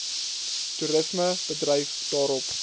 toerisme bedryf daarop